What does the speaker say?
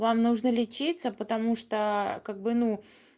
вам нужно лечиться потому что как бы ну